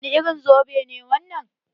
Wani irin zobe ne wannan?